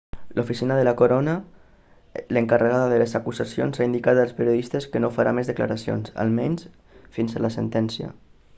l'oficina de la corona l'encarregada de les acusacions ha indicat als periodistes que no farà més declaracions almenys fins a la sentència